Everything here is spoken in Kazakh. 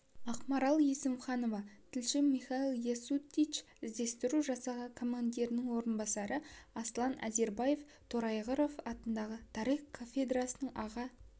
ақмарал есімханова тілші михаил ясутич іздестіру жасағы командирінің орынбасары аслан азербаев торайғыров атындағы тарих кафедрасының аға